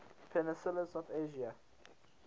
peninsulas of asia